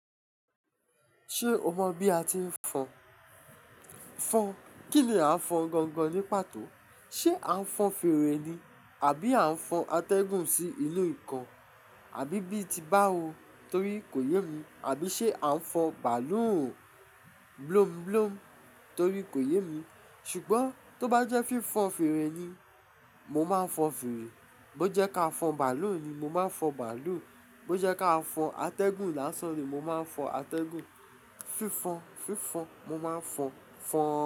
Ṣe o mọ bi a ti n fọn? Fọn, kini a n fọn gangan nipato? Ṣe a n fọn fèrè ni, abi a n fọn atẹgun si inu nkan? Abi bii ti ba o, tori ko yẹ mi. Abi ṣe a n fọn bàálù bloom bloom torí ko yẹ mi. Sugbon tọ ba jẹ fi fọn fèrè ni, mo ma n fọn fèrè. Bo jẹ ka fọn bàálù ni, mo ma n fọn bàálù. Bo jẹ ka fọn atẹgun la san ni, mo ma fọn atẹgun. Fi fọn fi fọn, mo ma fọn, fọn.